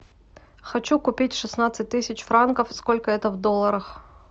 хочу купить шестнадцать тысяч франков сколько это в долларах